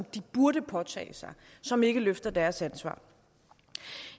de burde påtage sig som ikke løfter deres ansvar